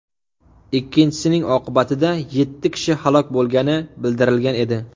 Ikkinchisining oqibatida yetti kishi halok bo‘lgani bildirilgan edi.